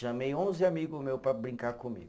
Chamei onze amigo meu para brincar comigo.